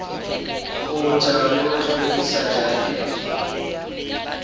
kgotha le ho hlwekisa jarete